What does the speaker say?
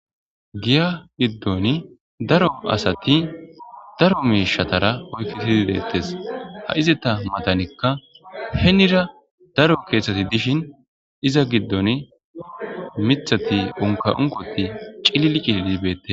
Giya giddon daro asati daro miishatara oykketidi deettes ha izata matanekka henira daro keeththati dishin iza giddon mithati unka unqoti cilili cililibette.